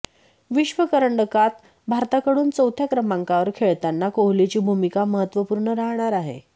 विश्वकरंडकात भारताकडून चौथ्या क्रमांकावर खेळताना कोहलीची भूमिका महत्त्वपूर्ण राहणार आहे